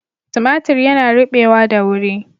Timatir yana rubewa da wuri.